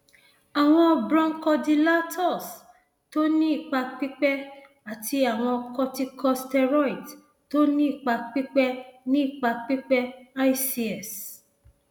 àwọn bronchodilators tó ní ipa pípẹ àti àwọn corticosteroids tó ní ipa pípẹ ní ipa pípẹ ics